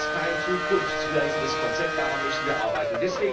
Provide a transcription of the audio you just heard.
Dies ist kein zukunftsweisendes Konzept, daran müssen wir arbeiten!